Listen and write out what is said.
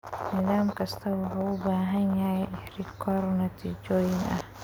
Nidaam kastaa wuxuu u baahan yahay rikoor natiijooyin ah.